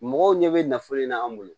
Mɔgɔw ɲɛ bɛ nafolo in na an bolo